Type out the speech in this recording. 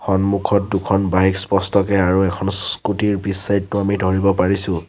সন্মুখত দুখন বাইক স্পষ্টকে আৰু এখন স্কুটি ৰ পিছ চাইদ টো আমি ধৰিব পাৰিছোঁ।